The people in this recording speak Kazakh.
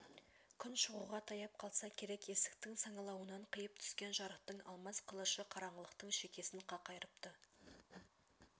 күн шығуға таяп қалса керек есіктің саңылауынан қиып түскен жарықтың алмас қылышы қараңғылықтың шекесін қақ айырыпты